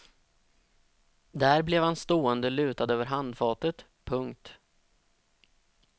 Där blev han stående lutad över handfatet. punkt